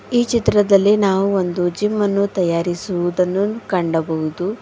ಈ ಚಿತ್ರದಲ್ಲಿ ನಾವು ಒಂದು ಜಿಮ ಅನ್ನು ತಯಾರಿಸುದನ್ನು ಕಂಡಬಹುದು.